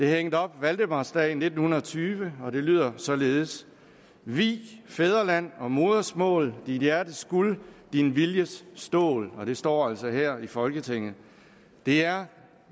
hængt op valdemarsdag i nitten tyve og det lyder således vi fædrelandog modersmåldit hjertes gulddin viljes stål det står altså her i folketinget det er